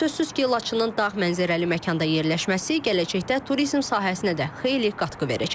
Sözsüz ki, Laçının dağ mənzərəli məkanda yerləşməsi gələcəkdə turizm sahəsinə də xeyli qatqı verəcək.